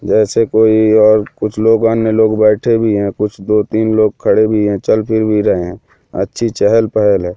जैसे कोई और कुछ लोग अन्य लोग बैठे भी हैं कुछ दो तीन लोग खड़े भी हैं चल फिर भी रहे हैं अच्छी चहल पहल हैं।